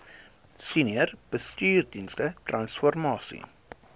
senior bestuursdienste transformasie